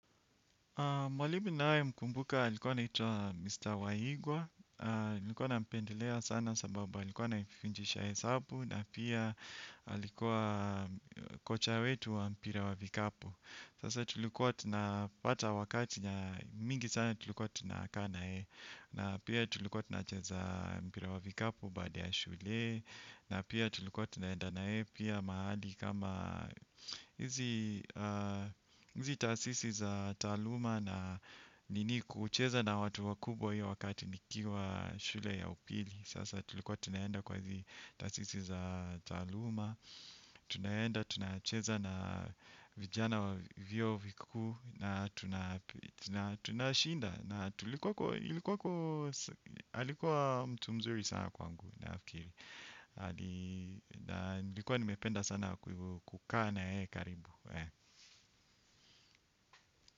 Mwalimu ninayemkumbuka alikuwa anaitwa Mr. Waigwa, nilikuwa nampendelea sana sababu alikuwa anafunjisha hesabu na pia alikuwa kocha wetu wa mpira wa vikapu. Sasa tulikuwa tunapata wakati na mingi sana tulikuwa tunakaa na yeye na pia tulikuwa tunacheza mpira wa vikapu baada ya shule. Na pia tulikuwa tunaenda na yeye pia mahali kama hizi tasisi za taaluma na nini kucheza na watu wakubwa hiyo wakati nikiwa shule ya upili. Sasa tulikuwa tunaenda kwa hizi tasisi za taaluma. Tunaenda, tunacheza na vijana wa viuo vikuu na tunashinda. Na alikuwa mtu mzuri sana kwangu nafikiri. Na nilikuwa nimependa sana kwa hivo kukaa na yeye karibu.